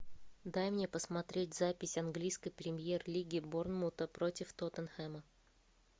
дай мне посмотреть запись английской премьер лиги борнмута против тоттенхэма